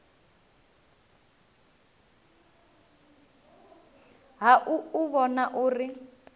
ha u u vhona uri